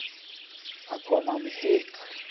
Það kom á mig hik.